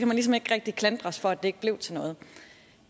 man ligesom ikke rigtig klandres for at det ikke blev til noget